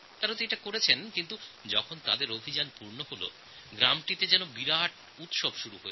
শৌচালয় তৈরির কাজ সম্পূর্ণ হওয়ার পর পুরো গ্রামের লোক এই উপলক্ষ্যে একটি বড় উৎসব পালন করেছেন